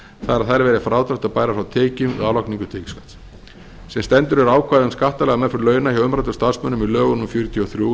að þær verði frádráttarbærar frá tekjum við álagningu tekjuskatts sem stendur eru ákvæði um skattalega meðferð launa hjá umræddum starfsmönnum í lögum númer fjörutíu og þrjú nítján